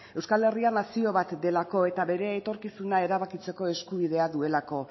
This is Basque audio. euskal herria nazio bat delako eta bere etorkizuna erabakitzeko eskubidea duelako